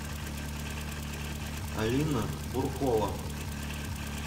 алина буркова